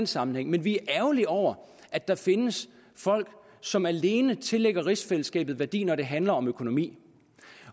sammenhæng vi er ærgerlige over at der findes folk som alene tillægger rigsfællesskabet værdi når det handler om økonomi